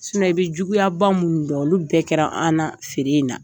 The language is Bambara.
i bɛ juguya ba minnu dɔn, olu bɛɛ kɛra an na, feere in na.